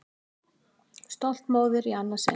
Stolt móðir í annað sinn.